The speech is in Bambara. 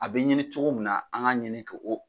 A be ɲini cogo min na, an ka ɲini k'o